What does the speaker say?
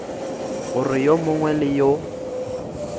gore yo mongwe le yo